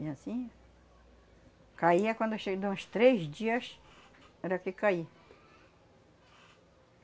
E anssim... Caía quando cheio de uns três dias, era que caía.